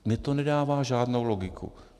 Mně to nedává žádnou logiku.